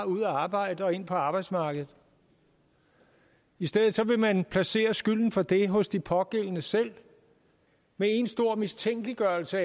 ud og arbejde og ind på arbejdsmarkedet i stedet vil man placere skylden for det hos de pågældende selv med én stor mistænkeliggørelse